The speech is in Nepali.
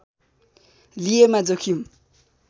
लिएमा जोखिम